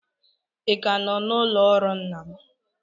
Ị ka nọ n'ụlọ ọrụ nna m?